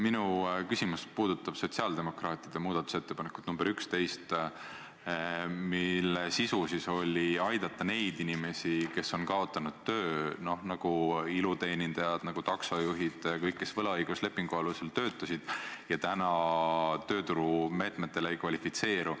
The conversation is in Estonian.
Minu küsimus puudutab sotsiaaldemokraatide muudatusettepanekut nr 11, mille sisu on aidata neid inimesi, kes on kaotanud töö, näiteks iluteenindajaid, taksojuhte, kõiki neid, kes töötasid võlaõiguslepingu alusel ja täna tööturumeetmetele ei kvalifitseeru.